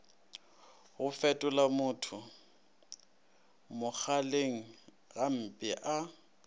go fetolamotho mogaleng gampe a